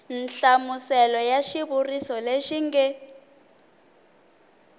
nhlamuselo ya xivuriso lexi nge